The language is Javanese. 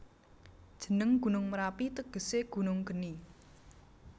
Jeneng Gunung Merapi tegese Gunung Geni